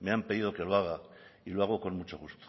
me han pedido que lo haga y lo hago con mucho gusto